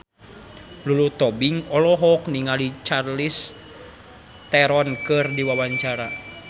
Lulu Tobing olohok ningali Charlize Theron keur diwawancara